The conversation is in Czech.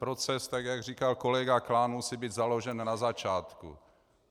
Proces, tak jak říkal kolega Klán, musí být založen na začátku.